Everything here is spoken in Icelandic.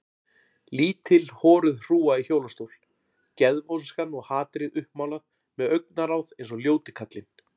Lítil horuð hrúga í hjólastól, geðvonskan og hatrið uppmálað með augnaráð eins og ljóti kallinn.